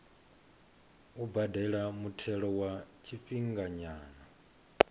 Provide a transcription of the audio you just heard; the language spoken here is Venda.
u badela muthelo wa tshifhinganyana